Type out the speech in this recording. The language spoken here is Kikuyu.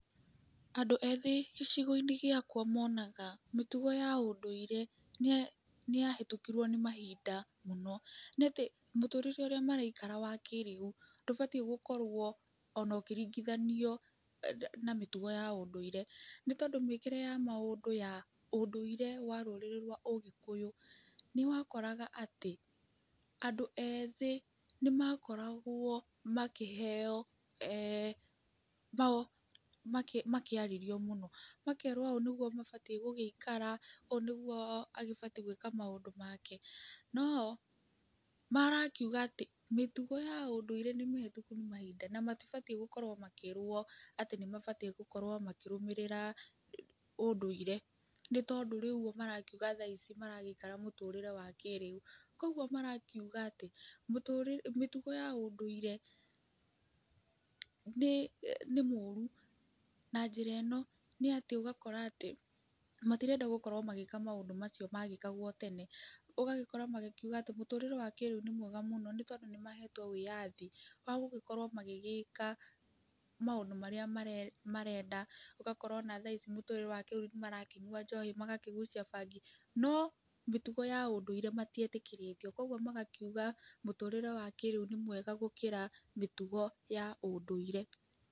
Andũ ethĩ gĩcigo-inĩ gĩakwa monaga mĩtugo ya ũdũire nĩyahĩtũkirwo nĩ mahinda mũno, nĩatĩ mũtũrĩre ũrĩa maraikara wa kũrĩu ndũbatiĩ gũkorwo ona ũkĩringithanio na mĩtugo ya ũndũire, nĩtondũ mĩkĩre ya maũndũ ya ũndũire wa rũrĩrĩ rwa Ũgĩkũyũ nĩwakoraga atĩ, andũ ethĩ nĩmakoragwo makĩheo makĩarĩrio mũno, makerwo ũũ nĩguo mabatiĩ gũgĩikara, ũũ nĩguo agĩbatiĩ gwĩka maũndũ make, no marakiuga atĩ mĩtugo ya ũndũire nĩmĩhĩtũke nĩ mahinda na matibatiĩ gũkorwo makĩrwo atĩ nĩmabatiĩ gũkorwo makĩrũmĩrĩra ũndũire, nĩtondũ rĩu ũguo marakiuga thaa ici maragĩikara mũtũrĩre wa kĩrĩu, kuoguo marakiuga atĩ mũtũrĩre mĩtugo ya ũndũire nĩĩ nĩ mũru na njĩra ĩno, nĩatĩ ũgakora atĩ matirenda gũkorwo magĩka maũndũ macio magĩkagwo tene, ũgagĩkora magĩkiuga atĩ mũtũrĩre wa kĩrĩu nĩ mwega mũno nĩtondũ nĩmahetwo wĩyathi wa gũgĩkorwo magĩgĩka maũndũ marĩa marenda, ũgakora ona thaa ici mũtũrĩre wa kĩrĩu nĩmarakĩnyua njohi, magakĩgucia bangi, no mĩtugo ya ũndũire matietĩkĩrĩtio, kuoguo magakiuga mũtũrĩre wa kĩrĩu nĩ mwega gũkĩra mĩtugo ya ũndũire.